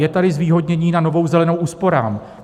Je tady zvýhodnění na Novou zelenou úsporám.